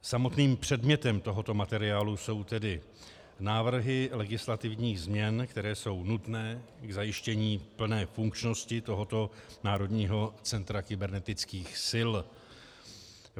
Samotným předmětem tohoto materiálu jsou tedy návrhy legislativních změn, které jsou nutné k zajištění plné funkčnosti tohoto Národního centra kybernetických sil.